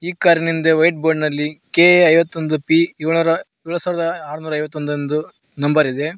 ಈ ಕಾರಿನಿಂದೆ white board ನಲ್ಲಿ ಕೆ_ಎ ಐವತ್ತೊಂದು ಪಿ ಏಳೋರ ಎಳಸಾವರದ ಆರ್ನುರ ಐವತ್ತೊಂದು ಎಂದು ನಂಬರ್ ಇದೆ.